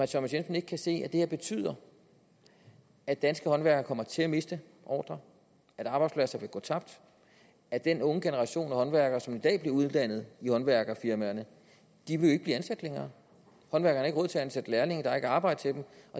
thomas jensen ikke kan se at det her betyder at danske håndværkere kommer til at miste ordrer at arbejdspladser vil gå tabt at den unge generation af håndværkere som i dag bliver uddannet i håndværkerfirmaerne jo ikke ansat længere håndværkerne til at ansætte lærlinge der er ikke arbejde til dem